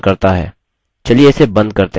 चलिए इसे बंद करते हैं